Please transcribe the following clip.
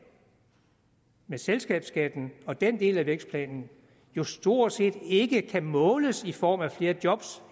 med selskabsskatten og den del af vækstplanen jo stort set ikke kan måles i form af flere job